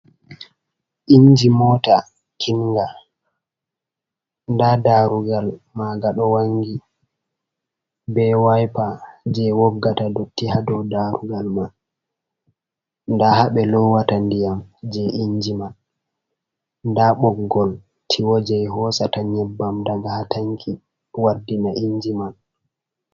Inji moota kinga. Nda darugal maga ɗo wangi be waipa je woggata dotti ha dow darugal man. Nda habe lowata ndiyam je inji man da boggol tiwoje hosata nyebbam ɗaga ha tanki wardina inji man.